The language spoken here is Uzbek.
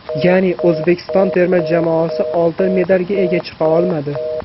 Ya’ni, O‘zbekiston terma jamoasi oltin medalga ega chiqa olmadi.